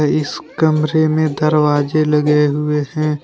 इस कमरे में दरवाजे लगे हुए हैं।